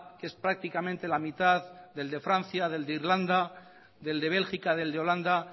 que es prácticamente la mitad del de francia del de irlanda del de bélgica del de holanda